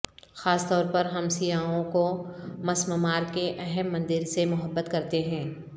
خاص طور پر ہم سیاحوں کو مسمار کے اہم مندر سے محبت کرتے ہیں